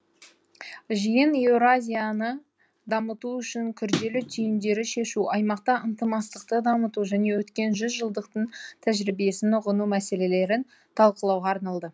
жиын еуразияны дамыту үшін күрделі түйіндерді шешу аймақта ынтымақтастықты дамыту және өткен жүз жылдықтың тәжірибесін ұғыну мәселелерін талқылауға арналады